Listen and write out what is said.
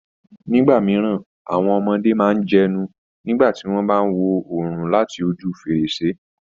Nígbà mìíràn, àwọn ọmọdé máa ń jẹnu nígbà tí wọ́n bá wo oòrùn láti ojú fèrèsé